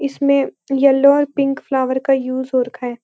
इसमें येलो और pink flower का यूज हो रखा है।